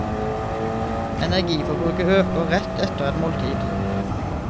Energiforbruket øker rett etter et måltid.